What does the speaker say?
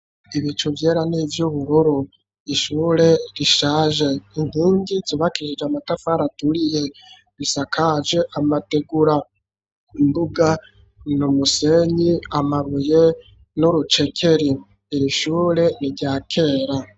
Ibicu vyera n'ivy'ubururu, ishure rishaje, inkingi zubakisije amatafara aturiye bisakaje amategura, imbuga numusenyi amabuye n'urucekeri ,iri shure niryakera.